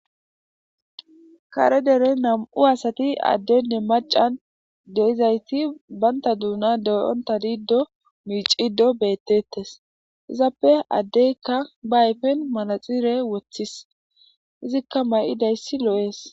Kare dere nam7u asati addenne macan deizayti baynta duuna deyonta diido miicido bettettes izappe addeykka ba hayfen malaxire woththis izikka may7idayssi loo7ees